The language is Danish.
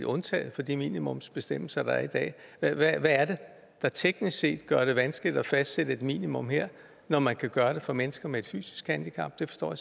undtaget fra de minimumsbestemmelser der er i dag hvad er det der teknisk set gør det vanskeligt at fastsætte et minimum her når man kan gøre det for mennesker med et fysisk handicap det forstår